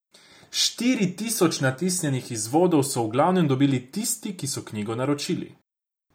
Štiri tisoč natisnjenih izvodov so v glavnem dobili tisti, ki so knjigo naročili.